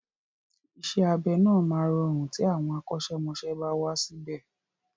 Isẹ́ abẹ náà máa rọrùn tí àwọn akọ́ṣẹ́mọsẹ́ bá wà síbè.